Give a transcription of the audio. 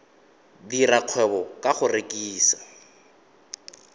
dira kgwebo ka go rekisa